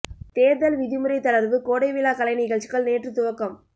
தேர்தல் விதிமுறை தளர்வு கோடை விழா கலை நிகழ்ச்சிகள் நேற்று துவக்கம்